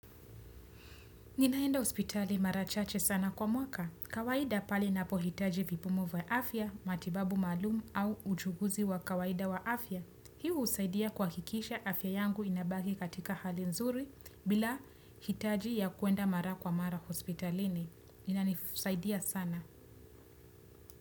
Ninaenda hospitali mara chache sana kwa mwaka. Kawaida pali napohitaji vipumu vya afya, matibabu maalum au uchuguzi wa kawaida wa afya. Hii husaidia kuhakikisha afya yangu inabaki katika hali nzuri bila hitaji ya kuenda mara kwa mara hospitalini. Inani f saidia sana.